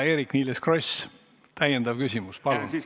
Eerik-Niiles Kross, täiendav küsimus, palun!